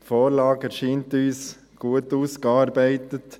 Die Vorlage erscheint uns gut ausgearbeitet.